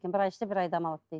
бір ай істеп бір ай демалады дейді